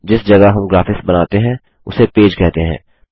जिस जगह हम ग्राफिक्स बनाते हैं उसे पेज कहते हैं